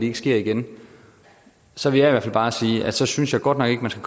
ikke sker igen så vil jeg bare sige at så synes jeg godt nok ikke man skal